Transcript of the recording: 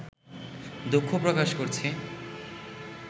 দুঃখ প্রকাশ করছি